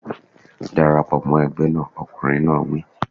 Dara pọ̀ mọ́ ẹgbẹ́ náà! Ọkùnrin náà wí.